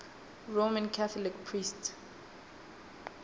roman catholic priests